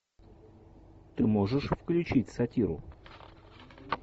ты можешь включить сатиру